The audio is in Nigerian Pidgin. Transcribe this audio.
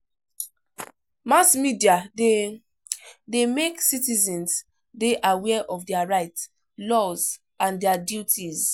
Mass media de de make citizens de aware of their rights, laws and their duties